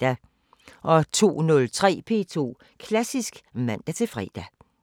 02:03: P2 Klassisk (man-fre)